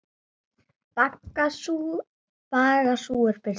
Baga sú er birtist hér.